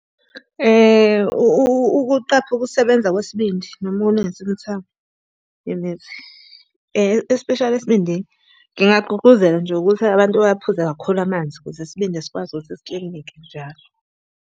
Ukuqapha ukusebenza kwesibindi noma ukulungisa imithamo yemithi especially esibindini. Ngingagqugquzela nje ukuthi abantu baphuze kakhulu amanzi, ukuze isibindi sikwazi ukuthi siklineke njalo.